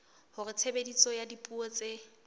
hore tshebediso ya dipuo tse